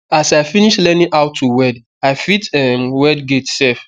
as i finish learning how to weld i fit um weld gate sef